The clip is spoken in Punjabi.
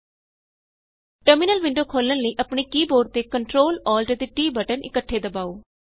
000329 000034 ਟਰਮਿਨਲ ਵਿੰਡੋ ਖੋਲ੍ਹਣ ਲਈ ਆਪਣੇ ਕੀ ਬੋਰਡ ਤੇ Ctrl Alt ਅਤੇ T ਬਟਨ ਇੱਕਠੇ ਦਬਾਉ